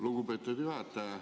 Lugupeetud juhataja!